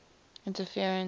interference